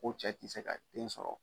Ko cɛ tɛ se ka den sɔrɔ.